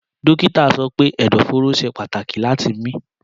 Dókítà sọ pé ẹ̀dọ̀fóró ṣe pàtàkì láti mí.